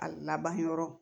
A laban yɔrɔ